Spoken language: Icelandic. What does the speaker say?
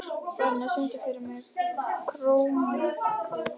Bríanna, syngdu fyrir mig „Krómkallar“.